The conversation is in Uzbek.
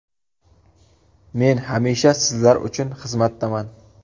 Men hamisha sizlar uchun xizmatdaman.